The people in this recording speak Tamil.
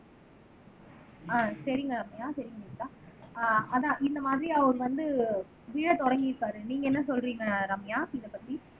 ஆஹ் சரிங்க ரம்யா செரிங்க நேத்ரா ஆஹ் அதான் இந்த மாதிரி அவர் வந்து விழ தொடங்கி இருப்பாரு நீங்க என்ன சொல்றீங்க ரம்யா இதைப்பத்தி